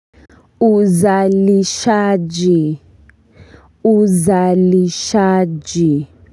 Uzalishaji uzalishaji.